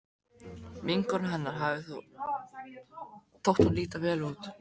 Vinkonu hennar hafði þótt hún líta vel út.